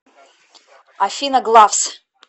афина главс